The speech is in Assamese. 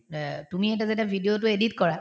তুমি এতিয়া যেতিয়া video তো edit কৰা